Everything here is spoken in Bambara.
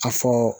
A fɔ